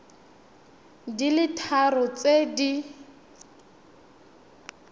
di le tharo tse di